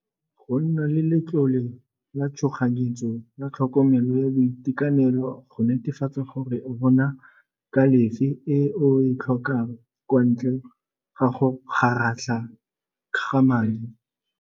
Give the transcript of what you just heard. Go nna le letlole la tshoganyetso la tlhokomelo ya boitekanelo go netefatsa gore o bona e o e tlhokang kwa ntle ga go go kgaratlha ga madi.